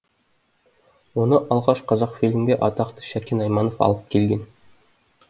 оны алғаш қазақфильмге атақты шәкен айманов алып келген